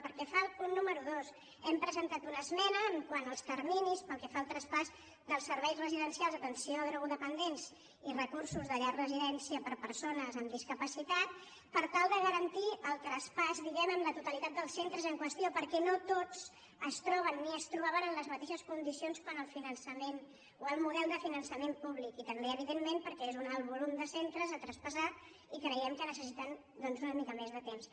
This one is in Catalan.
pel que fa al punt número dos hem presentat una esme·na quant als terminis pel que fa al traspàs dels serveis residencials d’atenció a drogodependents i recursos de llar residència per a persones amb discapacitat per tal de garantir el traspàs diguem·ne en la totalitat dels centres en qüestió perquè no tots es troben ni es tro·baven en les mateixes condicions quant al model de fi·nançament públic i també evidentment perquè és un alt volum de centres a traspassar i creiem que necessi·ten doncs una mica més de temps